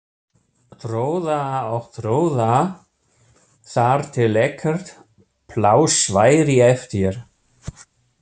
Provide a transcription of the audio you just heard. Troða og troða þar til ekkert pláss væri eftir.